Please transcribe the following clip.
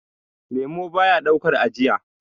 lemo baya daukar ajiya